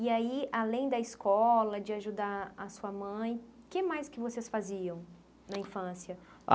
E aí, além da escola, de ajudar a sua mãe, que mais que vocês faziam na infância?